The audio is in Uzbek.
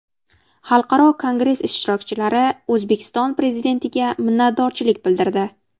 Xalqaro kongress ishtirokchilari O‘zbekiston prezidentiga minnatdorchilik bildirdi.